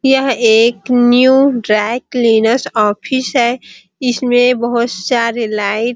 यह एक new dry cleaners office है इसमें बहुत सारे लाइट --